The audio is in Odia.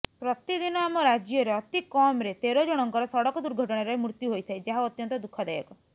ପ୍ରତିଦିନ ଆମ ରାଜ୍ୟରେ ଅତିକମ୍ରେ ତେରଜଣଙ୍କର ସଡ଼କ ଦୁର୍ଘଟଣାରେ ମୃତ୍ୟୁ ହୋଇଥାଏ ଯାହା ଅତ୍ୟନ୍ତ ଦୁଃଖଦାୟକ